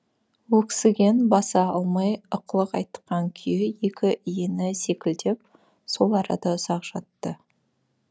өксіген баса алмай ықылық атқан күйі екі иіні селкілдеп сол арада ұзақ жатты